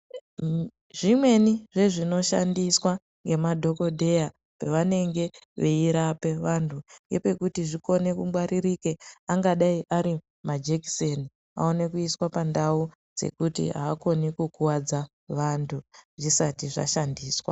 Zvimweni nezvinoshandiswa nemadhokodheya pevanenge veirape vanthu ngepekuti zvikone kungwaririka angadai ari majekiseni aone kuiswa pandu yekuti aakoni kukuwadza vanthu zvisati zvashandiswa .